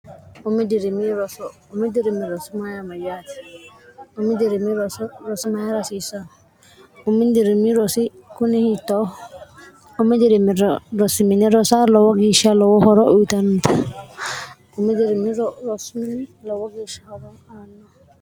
dr drirmmyaati dirimrs rsm rasiissa umidirimi rosi kui h0 ui dirim rosmin rosa lowo gieshsha lowo horo uyitannta udirimr rosimn lowo geeshsh horo aanna